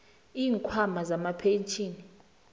iinkhwama zamapentjhini